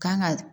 Kan ga